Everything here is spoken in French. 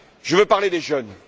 Je veux parler des jeunes.